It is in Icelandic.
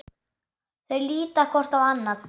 Þau líta hvort á annað.